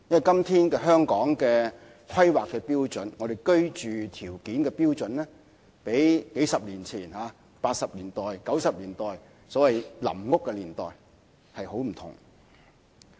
今天香港的規劃標準，即居住標準較數十年前，即八九十年代，或所謂臨時房屋區年代，有很大差別。